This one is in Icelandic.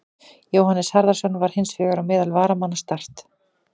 Jóhannes Harðarson var hins vegar á meðal varamanna Start.